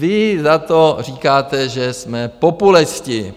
Vy za to říkáte, že jsme populisti.